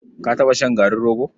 Ka taɓa shan garin rogo?